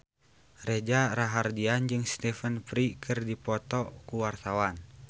Reza Rahardian jeung Stephen Fry keur dipoto ku wartawan